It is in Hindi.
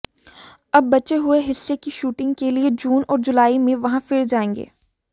अब बचे हुए हिस्से की शूटिंग के लिए जून और जुलाई में वहां फिर जाएंगे